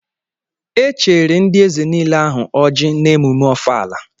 E cheere ndị eze niile ahụ ọjị n'emume ọfala.